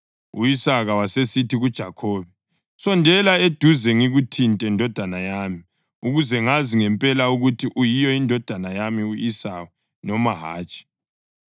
U-Isaka wasesithi kuJakhobe, “Sondela eduze ngikuthinte, ndodana yami, ukuze ngazi ngempela ukuthi uyiyo indodana yami u-Esawu noma hatshi.”